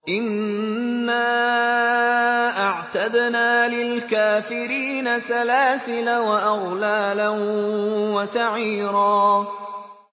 إِنَّا أَعْتَدْنَا لِلْكَافِرِينَ سَلَاسِلَ وَأَغْلَالًا وَسَعِيرًا